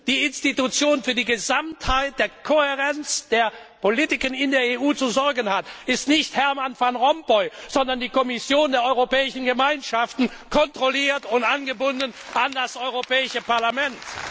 Die Institution, die für die Kohärenz der Gesamtheit der Politiken in der EU zu sorgen hat, ist nicht Herman Van Rompuy, sondern die Kommission der Europäischen Gemeinschaften kontrolliert und angebunden an das Europäische Parlament!